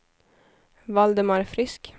Valdemar Frisk